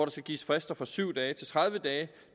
skal gives frister fra syv dage til tredive dage